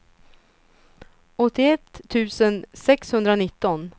åttioett tusen sexhundranitton